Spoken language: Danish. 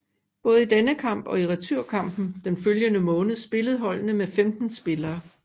Både i denne kamp og i returnkampen den følgende måned spillede holdene med 15 spillere